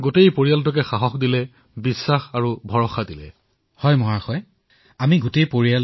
ইয়াৰ পিছতো মহোদয় কোনো ধৰণৰ সজাগতাৰ বাবে কৰবালৈ যাবলগীয়া হলে কিবা কৰিবলগীয়া হলে আমি সকলো সময়তে প্ৰস্তুত